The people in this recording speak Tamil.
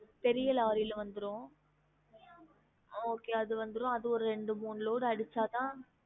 பெரிய லாரி ல வந்திரும் okay அது வந்திரும் அது ரெண்டு மூணு load அடிச்சாதான்